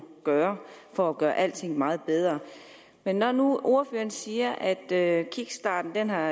gøre for at gøre alting meget bedre men når nu ordføreren siger at kickstarten har